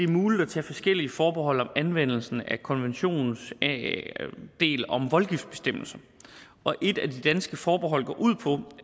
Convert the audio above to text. muligt at tage forskellige forbehold om anvendelsen af konventionens del om voldgiftbestemmelsen og et af de danske forbehold går på